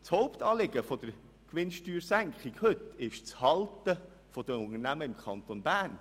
Das Hauptanliegen der gegenwärtigen Gewinnsteuersenkung ist das Halten der Unternehmen im Kanton Bern.